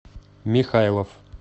михайлов